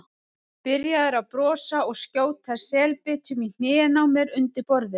Byrjaður að brosa og skjóta selbitum í hnén á mér undir borðinu.